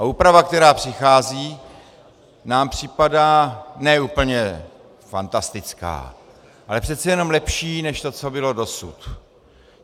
A úprava, která přichází, nám připadá ne úplně fantastická, ale přece jenom lepší než to, co bylo dosud.